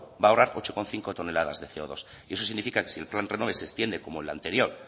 va a ahorrar ocho coma cinco toneladas de ce o dos y eso significa que si el plan renove se extiende como el anterior